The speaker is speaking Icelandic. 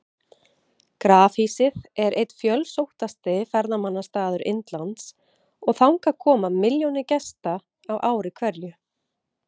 Grafhýsið er einn fjölsóttasti ferðamannastaður Indlands og þangað koma milljónir gesta á ári hverju.